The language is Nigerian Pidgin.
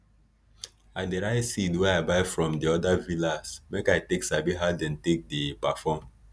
i dey write seed wey i buy from di odir villas make i take sabi how dem take dey perform